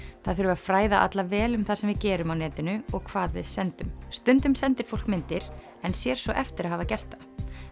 það þurfi að fræða alla vel um það sem við gerum á netinu og hvað við sendum stundum sendir fólk myndir en sér svo eftir að hafa gert það